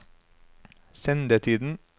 sendetiden